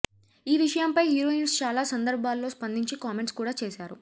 ఈ విషయంపై హీరోయిన్స్ చాలా సందర్భాలలో స్పందించి కామెంట్స్ కూడా చేశారు